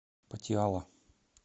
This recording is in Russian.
патиала